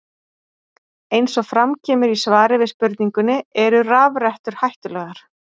Eins og fram kemur í svari við spurningunni Eru rafrettur hættulegar?